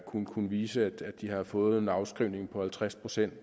kunne kunne vise at de havde fået en afskrivning på halvtreds procent